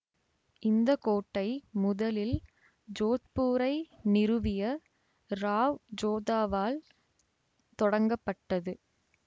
இந்த கோட்டை முதலில் ஜோத்பூரை நிறுவிய ராவ் ஜோதாவால் தொடங்கப்பட்டது